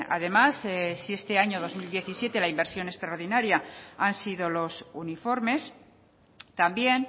además si en este año dos mil diecisiete la inversión extraordinaria han sido los uniformes también